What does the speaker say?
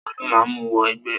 Ta ló máa mú wọ ẹgbẹ́?